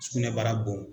Sugunɛbara bon